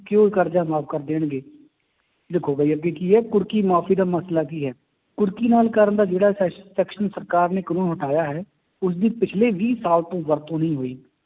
ਕਿ ਉਹ ਕਰਜ਼ਾ ਮਾਫ਼ ਕਰ ਦੇਣਗੇ ਦੇਖੋ ਵੀ ਅੱਗੇ ਕੀ ਹੈ ਕੁਰਕੀ ਮਾਫ਼ੀ ਦਾ ਮਸਲਾ ਕੀ ਹੈ, ਕੁਰਕੀ ਨਾਲ ਕਰਨ ਦਾ ਜਿਹੜਾ ਸੈ section ਸਰਕਾਰ ਨੇ ਕਾਨੂੰਨ ਹਟਾਇਆ ਹੈ, ਉਸਦੀ ਪਿੱਛਲੇ ਵੀਹ ਸਾਲ ਤੋਂ ਵਰਤੋਂ ਨਹੀਂ ਹੋਈ